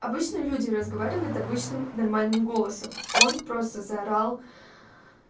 обычно люди разговаривают обычным нормальным голосом он просто заорал